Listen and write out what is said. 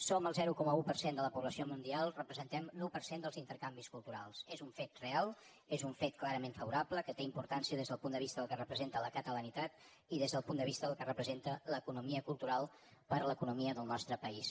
som el zero coma un per cent de la població mundial representem l’un per cent dels intercanvis culturals és un fet real és un fet clarament favorable que té importància des del punt de vista del que representa la catalanitat i des del punt de vista del que representa l’economia cultural per a l’economia del nostre país